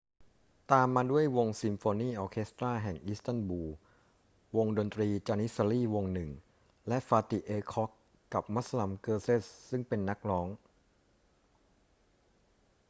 ตามมาด้วยวงซิมโฟนีออร์เคสตราแห่งอิสตันบูล วงดนตรี janissary วงหนึ่ง และ fatih erkoç กับ müslüm gürses ซึ่งเป็นนักร้อง